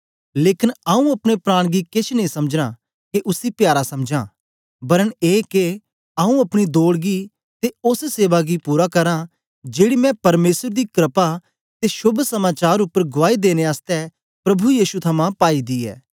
लेकन आंऊँ अपने प्राण गी केछ नेई समझना के उसी प्यारा समझां बरना ए के आंऊँ अपनी दौड़ गी ते ओस सेवा गी पूरा करां जेड़ी मैं परमेसर दी क्रपा दे शोभ समाचार उपर गुआई देने आसतै प्रभु यीशु थमां पाई दी ऐ